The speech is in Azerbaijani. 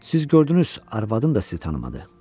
Siz gördünüz, arvadın da sizi tanımadı.